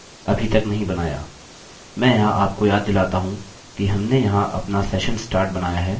मैं यहाँ आपको याद दिलाता हूँ कि हमने यहाँ अपना session start बनाया है जो कि बहुत महत्वपूर्ण है